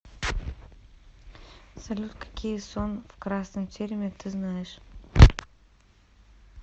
салют какие сон в красном тереме ты знаешь